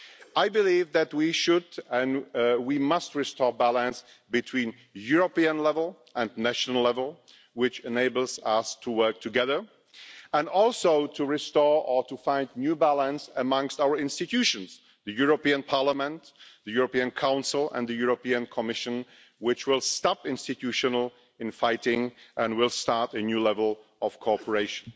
I believe that we should and we must restore the balance between the European level and the national level which enables us to work together, and also restore or find a new balance amongst our institutions the European Parliament, the European Council and the European Commission which will stop institutional infighting and will start a new level of cooperation.